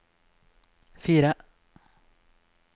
fire